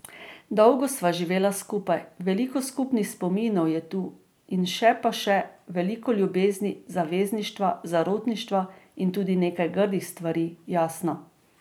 Dolgo sva živela skupaj, veliko skupnih spominov je tu in še pa še, veliko ljubezni, zavezništva, zarotništva in tudi nekaj grdih stvari, jasno.